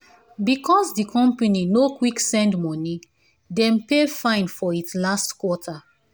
because the company no quick send money dem pay fine for it last quarter.